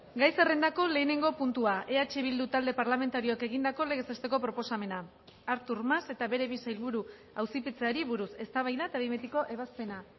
gai zerrendako lehenengo puntua eh bildu talde parlamentarioak egindako legez besteko proposamena artur mas eta bere bi sailburu auzipetzeari buruz eztabaida eta behin betiko ebazpena